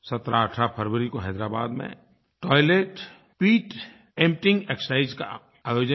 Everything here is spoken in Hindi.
1718 फ़रवरी को हैदराबाद में टॉयलेट पिट एम्पटाइंग एक्सरसाइज का आयोजन किया